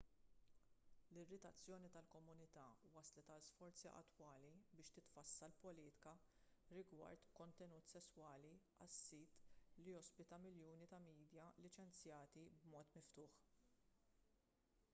l-irritazzjoni tal-komunità wasslet għal sforzi attwali biex titfassal politika rigward kontenut sesswali għas-sit li jospita miljuni ta' midja liċenzjati b'mod miftuħ